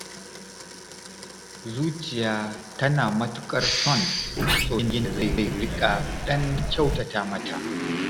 Zuciya tana matuƙar son masoyin da zai riƙa ɗan kyautata mata.